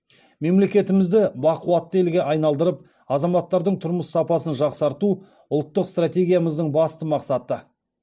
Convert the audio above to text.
мемлекетімізді бақуатты елге айналдырып азаматтардың тұрмыс сапасын жақсарту ұлттық стратегиямыздың басты мақсаты